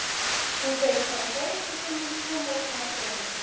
Hún segist hafa fjarvistarsönnun tvo morgna af þremur.